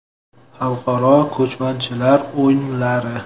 Xalqaro ko‘chmanchilar o‘yinlari.